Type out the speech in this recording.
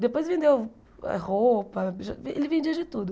Depois vendeu ah roupa, biju ele vendia de tudo.